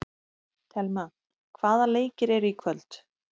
Thelma, hvaða leikir eru í kvöld?